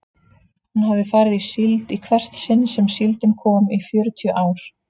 Hún hafði farið í síld í hvert sinn sem síldin kom í fjörutíu ár.